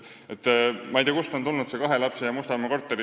Ma ei tea, kust on tulnud see kahe lapse ja Mustamäe korteri teema.